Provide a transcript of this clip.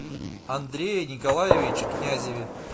андрее николаевиче князеве